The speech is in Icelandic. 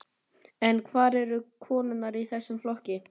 En hvar eru konurnar í þessum flokki?